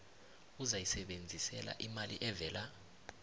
ozayisebenzisela imali evela